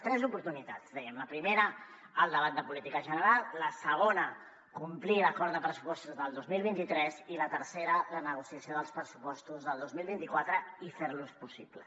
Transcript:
tres oportunitats dèiem la primera el debat de política general la segona complir l’acord de pressupostos del dos mil vint tres i la tercera la negociació dels pressupostos del dos mil vint quatre i fer los possible